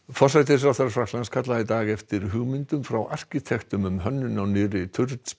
forsætisráðherra Frakklands kallaði í dag eftir hugmyndum frá arkitektum um hönnun á nýrri